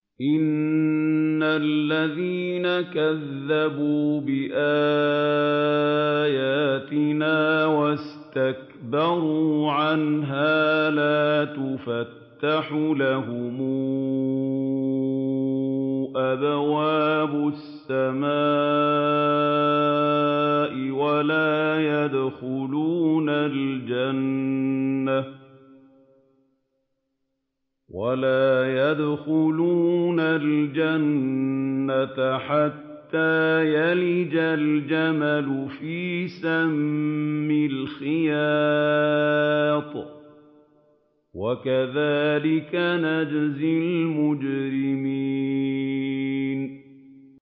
إِنَّ الَّذِينَ كَذَّبُوا بِآيَاتِنَا وَاسْتَكْبَرُوا عَنْهَا لَا تُفَتَّحُ لَهُمْ أَبْوَابُ السَّمَاءِ وَلَا يَدْخُلُونَ الْجَنَّةَ حَتَّىٰ يَلِجَ الْجَمَلُ فِي سَمِّ الْخِيَاطِ ۚ وَكَذَٰلِكَ نَجْزِي الْمُجْرِمِينَ